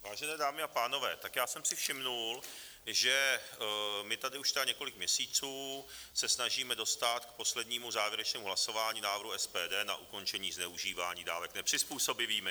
Vážené dámy a pánové, tak já jsem si všiml, že my tady už tedy několik měsíců se snažíme dostat k poslednímu závěrečnému hlasování návrhu SPD na ukončení zneužívání dávek nepřizpůsobivými.